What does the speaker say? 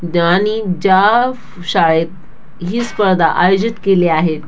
ज्या शाळेत ही स्पर्धा आयोजित केली आहे.